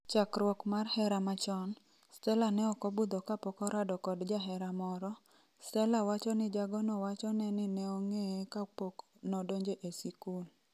Chakruok mar hera machon, Stella neokobudho kapokorado kod jahera moro, Stella wacho ni jagono wachone ni nenong'eye ka pok nodonjo e sikul.